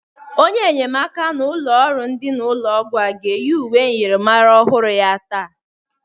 Onye nnyemaka n'ọnụ ụlọ ndịna ụlọ ọgwọ a ga-eyi uwe myịrịmara ọhụrụ ya taa.